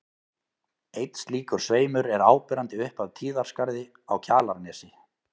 Einn slíkur sveimur er áberandi upp af Tíðaskarði á Kjalarnesi.